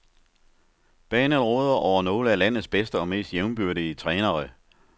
Banen råder over nogle af landets bedste og mest jævnbyrdige trænere.